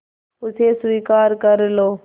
उसे स्वीकार कर लो